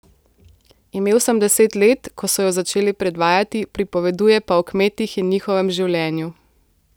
Imel sem deset let, ko so jo začeli predvajati, pripoveduje pa o kmetih in njihovem življenju.